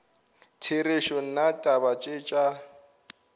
therešo nna taba tše tša